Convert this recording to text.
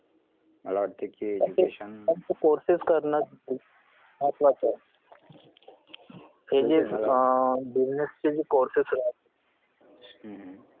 मला वाटत कि education हम्म हम्म